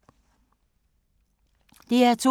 DR2